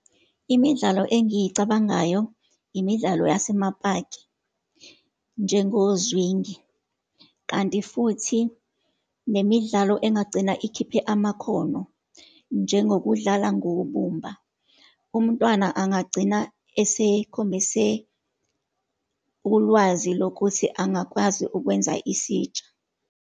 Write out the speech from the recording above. Imidlalo engiyicabangayo, imidlalo yasemapaki, njengozwingi. Kanti futhi nemidlalo engagcina ikhiphe amakhono, njengokudlala ngobumba. Umntwana angagcina esekhombise ulwazi lokuthi angakwazi ukwenza isitsha.